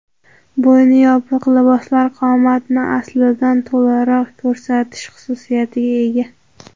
Bo‘yni yopiq liboslar qomatni aslidan to‘laroq ko‘rsatish xususiyatga ega.